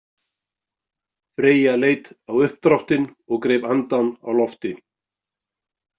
Freyja leit á uppdráttinn og greip andann á lofti.